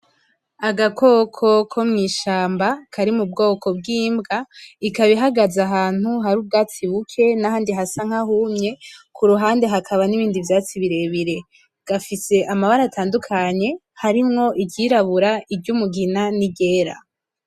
Agakoko ko mw'ishamba kari mu bwoko bw'imbwa, ikaba ihagaze ahantu hari ubwatsi buke n'ahandi hasa nk'ahumye, ku ruhande hakaba n'ibindi vyatsi birebire . Gafise amabara atandukanye, harimwo iryirabura, iry'umugina n'iryera.